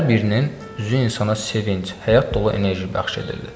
Hər birinin üzü insana sevinc, həyat dolu enerji bəxş edirdi.